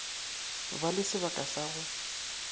ba le sebaka sa go